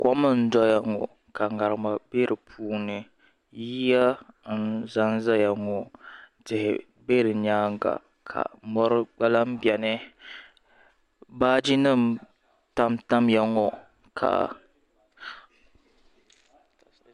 Kom n doya ŋo ka ŋarima bɛ di puuni yiya n ʒɛnʒɛya ŋo tihi bɛ di nyaanga ka mori gba lan biɛni baaji nim tamtamya ŋo ka